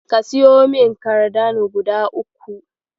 Ka siyo min kardano guda uku.